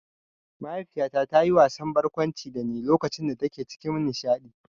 Mahaifiyata ta yi wasan barkwanci dani lokacin da take cikin nishaɗi